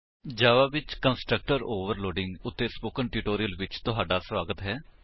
ਜਾਵਾ Java ਵਿੱਚ constructor overloading ਉੱਤੇ spoken tutorial ਵਿੱਚ ਤੁਹਾਡਾ ਸਵਾਗਤ ਹੈ